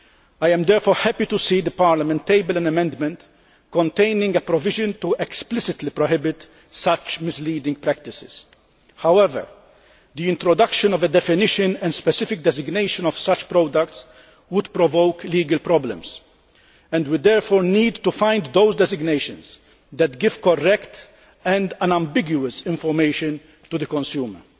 I am therefore happy to see Parliament table an amendment containing a provision to explicitly prohibit such misleading practices. However, the introduction of a definition and specific designation of such products would provoke legal problems, and we therefore need to find those designations which give correct and unambiguous information to the consumer.